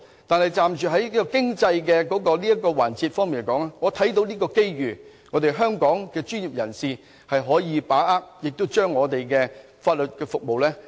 但從經濟環節來說，我看到香港的專業人士可以把握這個機遇延展我們的法律服務。